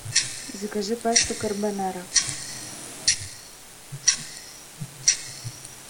закажи пасту карбонара